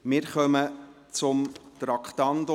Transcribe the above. Wir kommen zum Traktandum 37.